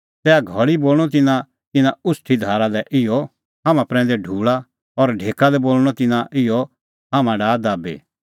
तैहा घल़ी बोल़णअ तिन्नां इना उछ़टी धारा लै इहअ हाम्हां प्रैंदै ढूल़ा और ढेका लै बोल़णअ तिन्नां इहअ हाम्हां डाहा दाबी